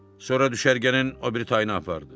Sonra düşərgənin o biri tayına apardı.